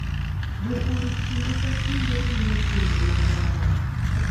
Jopur kinde ka kinde timo timbe mag lamo